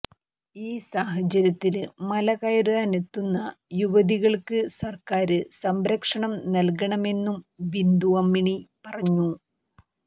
ഈ സാഹചര്യത്തില് മലകയറാനെത്തുന്ന യുവതികള്ക്ക് സര്ക്കാര് സംരക്ഷണം നല്കണമെന്നും ബിന്ദു അമ്മിണി പറഞ്ഞു